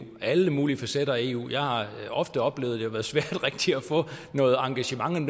alle mulige facetter af eu jeg har ofte oplevet at det har været svært rigtig at få noget engagement ind